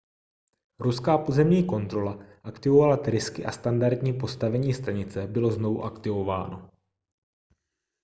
ruská pozemní kontrola aktivovala trysky a standardní postavení stanice bylo znovu aktivováno